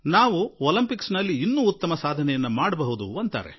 Olympics ನಲ್ಲಿ ನಾವು ಇನ್ನೂ ಉತ್ತಮ ಸಾಧನೆ ತೋರಿಸಬಹುದಿತ್ತು ಎಂದು ಒಥಿ ಉov